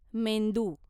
मेंदू